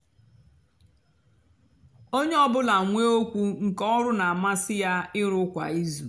ónyé ọ bụlà nwée ókwú nkè ọrụ nà-àmasị yá ịrù kwá ízú.